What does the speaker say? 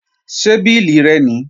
Ṣé bílì rẹ nìí?